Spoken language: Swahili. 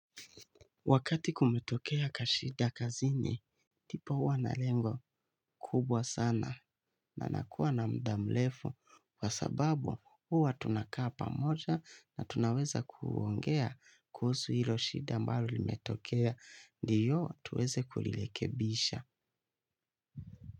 Wakati kumetokea kashida kazini, tipa huwa na lengo kubwa sana na anakuwa na mda mrefu kwa sababu huwa tunakaa pamoja na tunaweza kuongea kuhusu hilo shida ambalo limetokea ndiyo tuweze kulirekebisha.